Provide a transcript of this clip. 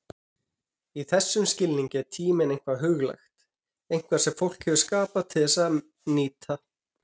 Í þessum skilningi er tíminn eitthvað huglægt, eitthvað sem fólk hefur skapað til að nýta.